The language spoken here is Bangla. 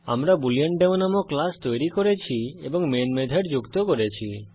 আমরা বুলেন্ডেমো নামক ক্লাস তৈরি করেছি এবং মেন মেথড যুক্ত করেছি